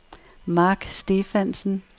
Marc Stephansen